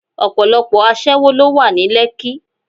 Ọ̀pọ̀lọpọ̀ aṣẹ́wó ló wà ní Lekki.